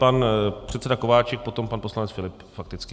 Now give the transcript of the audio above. Pan předseda Kováčik, potom pan poslanec Filip fakticky.